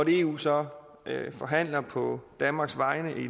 eu så forhandler på danmarks vegne i